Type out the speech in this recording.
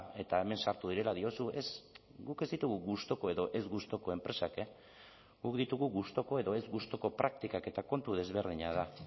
eta hemen sartu direla diozu ez guk ez ditugu gustuko edo ez gustuko enpresak guk ditugu gustuko edo ez gustuko praktikak eta kontu desberdina da